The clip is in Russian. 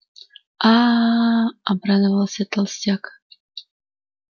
аа обрадовался толстяк